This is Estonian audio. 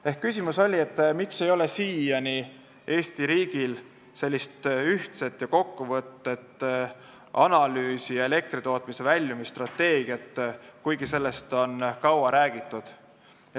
Ehk küsimus oli, miks ei ole Eesti riigil siiani ühtset ja kokkuvõtvat analüüsi, elektritootmise väljumisstrateegiat, kuigi sellest on kaua räägitud.